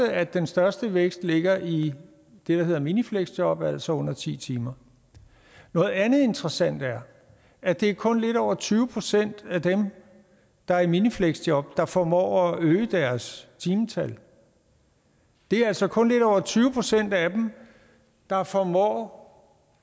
at den største vækst ligger i det der hedder minifleksjob altså under ti timer noget andet interessant er at det kun er lidt over tyve procent af dem der er i minifleksjob der formår at øge deres timetal det er altså kun lidt over tyve procent af dem der formår